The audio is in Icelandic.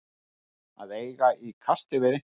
Að eiga í kasti við einhvern